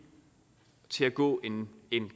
til at gå en